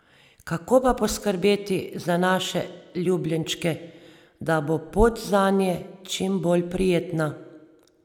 Kako pa poskrbeti za naše ljubljenčke, da bo pot zanje čim bolj prijetna?